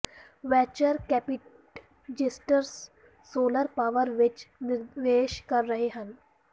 venture capitalists solar power ਵਿਚ ਨਿਵੇਸ਼ ਕਰ ਰਹੇ ਹਨ